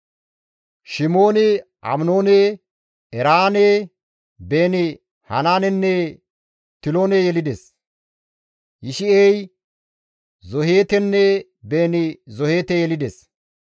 Shimooni Aminoone, Eraane, Beeni-Hanaanenne Tilone yelides; Yishi7ey Zoheetenne Beeni-Zoheete yelides.